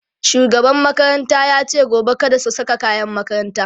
shugaban makaranta yace gobe kada su Saka kayan makaranta